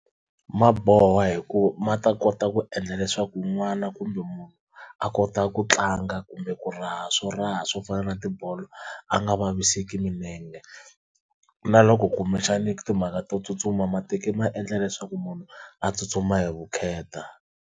Ma boha hi ku ma ta kota ku endla leswaku n'wana kumbe munhu a kota ku tlanga kumbe ku raha swo raha swo fana na tibolo a nga vaviseki milenge, na loko kumbexani ku timhaka to tsutsuma matiko ma endla leswaku munhu a tsutsuma hi vukheta.